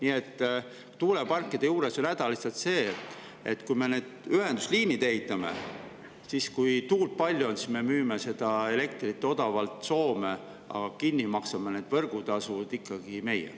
Ja tuuleparkide juures on häda lihtsalt see, et me ehitame need ühendusliinid ja siis, kui tuult palju on, me müüme seda elektrit odavalt Soome, aga võrgutasud maksame kinni ikkagi meie.